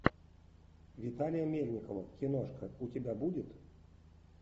виталия мельникова киношка у тебя будет